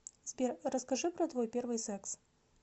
сбер расскажи про твой первый секс